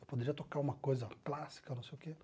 Eu poderia tocar uma coisa clássica, não sei o quê.